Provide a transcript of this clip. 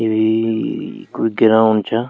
यूई कुई ग्राउंड छा।